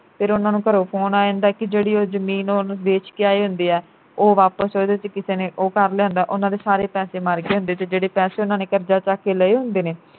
ਫਿਰ ਉਨ੍ਹਾਂ ਨੂੰ ਘਰੋਂ phone ਆ ਜਾਂਦਾ ਕਿ ਐ ਜਿਹੜੀ ਉਹ ਜਮੀਨ ਉਹਨੂੰ ਵੇਚ ਕੇ ਆਏ ਹੁੰਦੇ ਆ ਉਹ ਵਾਪਸ ਉਹਦੇ ਵਿਚ ਕਿਸੇ ਨੇ ਉਹ ਕਰ ਲਿਆ ਹੁੰਦਾ ਉਨ੍ਹਾਂ ਦੇ ਸਾਰੇ ਪੈਸੇ ਮਰ ਗਏ ਹੁੰਦੇ ਤੇ ਜਿਹੜੇ ਪੈਸੇ ਉਨ੍ਹਾਂ ਨੇ ਕਰਜਾ ਚੱਕ ਕੇ ਲਏ ਹੁੰਦੇ ਨੇ